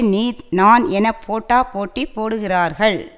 நீ நான் என போட்டா போட்டி போடுகிறார்கள்